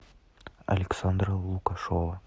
александра лукашова